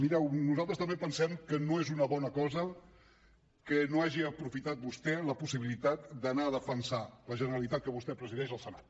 mireu nosaltres també pensem que no és una bona cosa que no hagi aprofitat vostè la possibilitat d’anar a defensar la generalitat que vostè presideix al senat